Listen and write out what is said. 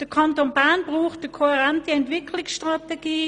Der Kanton Bern braucht eine kohärente Entwicklungsstrategie;